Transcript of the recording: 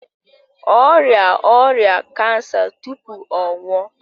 Ọ rịa ọrịa kansa tupu ọ nwụọ.